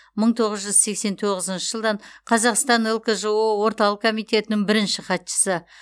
мың тоғыз жүз сексен тоғызыншы жылдан қазақстан лкжо орталық комитетінің бірінші хатшысы